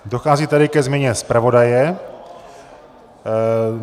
Dochází tady ke změně zpravodaje.